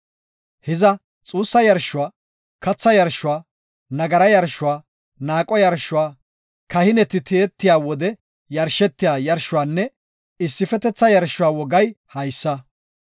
Hiza xuussa yarshuwa, katha yarshuwa, nagara yarshuwa, naaqo yarshuwa, kahineti tiyetiya wode yarshetiya yarshuwanne issifetetha yarshuwa wogay haysa.